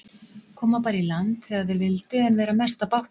Koma bara í land þegar þeir vildu en vera mest á bátnum.